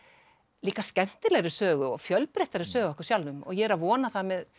líka skemmtilegri sögu og fjölbreyttari sögu af okkur sjálfum og ég er að vona það með